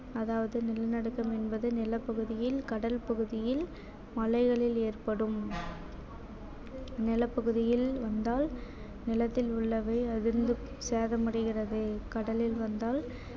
அதாவது நிலநடுக்கம் என்பது நிலப்பகுதியில் கடல் பகுதியில் மலைகளில் ஏற்படும் நிலப்பகுதியில் வந்தால் நிலத்தில் உள்ளவை அதிர்ந்து சேதமடைகிறது கடலில் வந்தால்